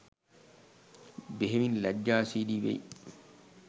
බෙහෙවින් ලැජ්ජාශීලී වෙයි